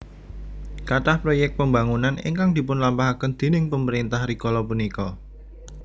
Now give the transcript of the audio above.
Kathah proyek pembangunan ingkang dipun lampahaken déning pemerintah rikala punika